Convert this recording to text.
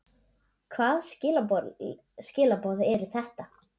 Hvaða skilaboð eru þetta?